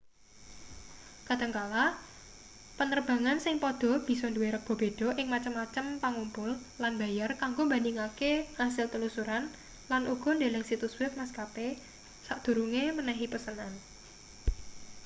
kadhangkala panerbangan sing padha bisa duwe rega beda ing macem-macem pangumpul lan mbayar kanggo mbandhingake asil telusuran lan uga ndeleng situs web maskape sadurunge menehi pesenan